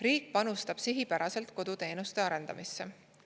Riik panustab sihipäraselt koduteenuste arendamisse.